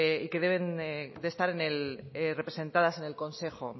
y que deben de estar representadas en el consejo